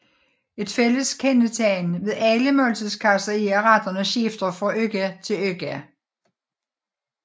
Et fælles kendetegn ved alle måltidskasser er at retterne skifter fra uge til uge